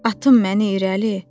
Atım məni irəli.